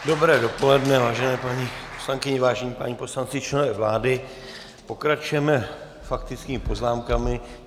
Dobré dopoledne, vážené paní poslankyně, vážení páni poslanci, členové vlády, pokračujeme faktickými poznámkami.